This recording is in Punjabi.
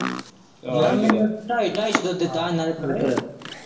ਯਾਰ ਮੈਨੂੰ ਢਾਈ-ਢਾਈ ਸੌ ਦਿੱਤਾ ਇਹਨਾਂ ਨੇ ਰੱਖਣ ਨੂੰ ਕਿਰਾਇਆਂ।